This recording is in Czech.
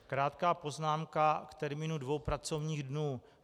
Krátká poznámka k termínu dvou pracovních dnů.